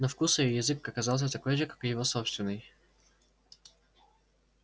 на вкус её язык оказался такой же как и его собственный